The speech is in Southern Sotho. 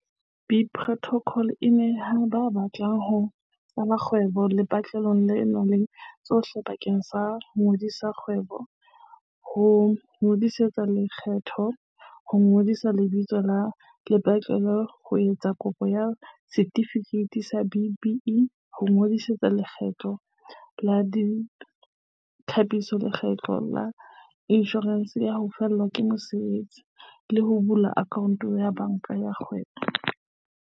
BizPortal e neha ba batlang ho qala dikgwebo lepatlelo le nang le tsohle bakeng sa ho ngodisa kgwebo, ho ingodisetsa lekgetho, ho ngodisa lebitso la lepatlelo, ho etsa kopo ya setifikeiti sa B-BBEE, ho ingodisetsa Letlole la Ditlhapiso le Letlole la Inshorense ya ho Fellwa ke Mosebetsi, le ho bula akhaonto ya banka ya kgwebo.